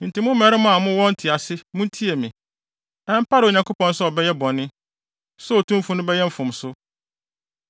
“Enti mo mmarima a mowɔ ntease muntie me. Ɛmpare Onyankopɔn sɛ ɔbɛyɛ bɔne, sɛ Otumfo no bɛyɛ mfomso.